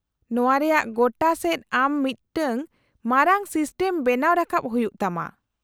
-ᱱᱚᱶᱟ ᱨᱮᱭᱟᱜ ᱜᱚᱴᱟ ᱥᱮᱫ ᱟᱢ ᱢᱤᱫᱴᱟᱝ ᱢᱟᱨᱟᱝ ᱥᱤᱥᱴᱮᱢ ᱵᱮᱱᱟᱣ ᱨᱟᱠᱟᱵ ᱦᱩᱭᱩᱜ ᱛᱟᱢᱟ ᱾